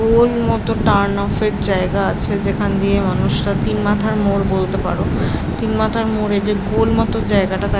গোল মত turn off -এর জায়গা আছে যেখান দিয়ে মানুষরা তিন মাথার মোড় বলতে পারো। তিন মাথার মোড়ে যে গোল মত জায়গাটা তা --